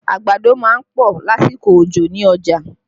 Àgbàdo má ń pọ̀ lásìkò òjò ní ọjà